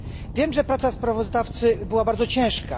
Wiem, że praca sprawozdawcy była bardzo ciężka.